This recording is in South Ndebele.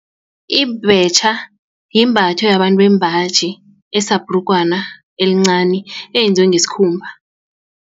Ibhetjha yimbatho yabantu bembaji esabhrugwana elincani eyenziwe ngesikhumba.